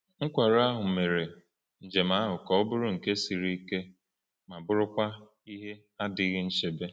Nkwarụ ahụ mere njem ahụ ka ọ bụrụ nke siri ike ma bụrụkwa ihe na-adịghị nchebe.